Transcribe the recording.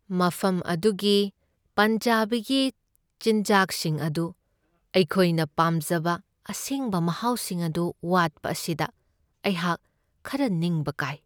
ꯃꯐꯝ ꯑꯗꯨꯒꯤ ꯄꯟꯖꯥꯕꯤꯒꯤ ꯆꯤꯟꯖꯥꯛꯁꯤꯡ ꯑꯗꯨ ꯑꯩꯈꯣꯏꯅ ꯄꯥꯝꯖꯕ ꯑꯁꯦꯡꯕ ꯃꯍꯥꯎꯁꯤꯡ ꯑꯗꯨ ꯋꯥꯠꯄ ꯑꯁꯤꯗ ꯑꯩꯍꯥꯛ ꯈꯔ ꯅꯤꯡꯕ ꯀꯥꯏ ꯫